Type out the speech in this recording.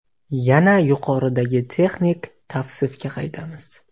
Yana yuqoridagi texnik tavsifga qaytamiz.